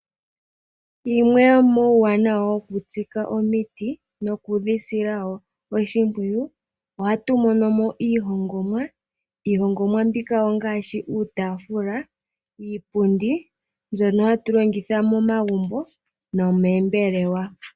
Yimwe yomuuwanawa wokutsika omiti nokudhisila wo oshimpwiyu oha tu monomo iihongomwa ngaashi uutafula niipundi mbyono hatu longitha momagumbo nomoombelewa.